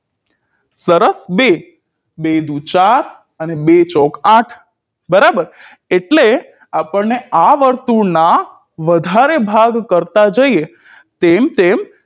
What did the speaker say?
સરસ બે બે દુ ચાર અને બે ચોક આઠ બરાબર એટલે અપણને આ વર્તુળ ના વધારે ભાગ કરતાં જઈએ તેમ તેમ